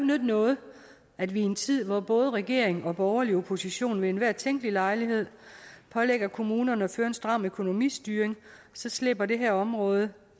nytte noget at vi i en tid hvor både regering og borgerlig opposition ved enhver tænkelig lejlighed pålægger kommunerne at føre en stram økonomistyring så slipper det her område